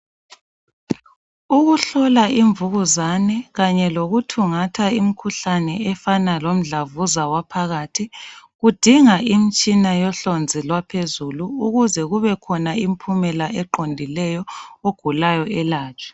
Ukuhlola imvukuzani kanye lokuthungatha imkhuhlane efana lomdlavuza waphakathi kudinga imtshina yohlonzi lwaphezulu ukuze kubekhona imphumela eqondileyo ogulayo elatshwe